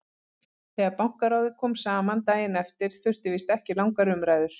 Þegar Bankaráðið kom saman daginn eftir þurfti víst ekki langar umræður.